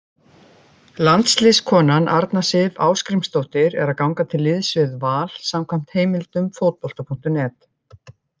Landsliðskonan Arna Sif Ásgrímsdóttir er að ganga til liðs við Val samkvæmt heimildum Fótbolta.net.